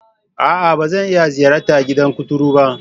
A'a! Ba zan iya ziyartar gidan kuturu ba.